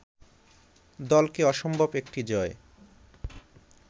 দলকে অসম্ভব একটি জয়